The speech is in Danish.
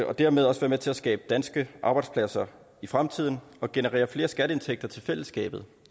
og dermed også være med til at skabe danske arbejdspladser i fremtiden og generere flere skatteindtægter til fællesskabet